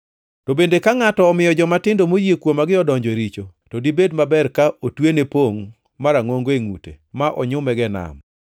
“To bende ka ngʼato omiyo jomatindo moyie kuomagi odonjo e richo, to dibed maber ka otwene pongʼ marangʼongo e ngʼute ma onyumego e nam.